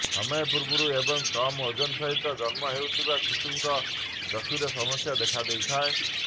ସମୟ ପୂର୍ବରୁ ଏବଂ କମ୍ ଓଜନ ସହିତ ଜନ୍ମ ହେଉଥିବା ଶିଶୁଙ୍କ ଚକ୍ଷୁରେ ସମସ୍ୟା ଦେଖା ଦେଇଥାଏ